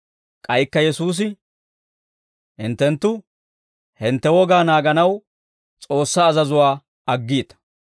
K'aykka Yesuusi, «Hinttenttu hintte wogaa naaganaw S'oossaa azazuwaa aggiita.